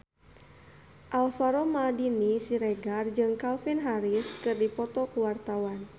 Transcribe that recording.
Alvaro Maldini Siregar jeung Calvin Harris keur dipoto ku wartawan